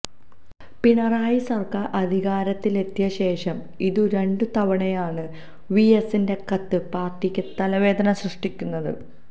പിണറായി സര്ക്കാര് അധികാരത്തിലെത്തിയ ശേഷം ഇതു രണ്ടാം തവണയാണ് വിഎസിന്റെ കത്ത് പാര്ട്ടിക്ക് തലവേദന സൃഷ്ടിക്കുന്നത്